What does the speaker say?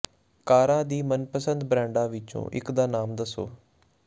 ਕਾਰਾਂ ਦੀ ਮਨਪਸੰਦ ਬ੍ਰਾਂਡਾਂ ਵਿੱਚੋਂ ਇੱਕ ਦਾ ਨਾਮ ਦੱਸੋ